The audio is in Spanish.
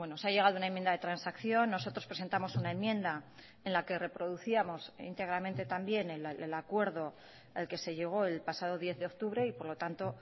se ha llegado a una enmienda de transacción nosotros presentamos una enmienda en la que reproducíamos íntegramente también el acuerdo al que se llegó el pasado diez de octubre y por lo tanto